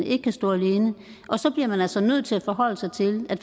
ikke kan stå alene så bliver man altså nødt til at forholde sig til at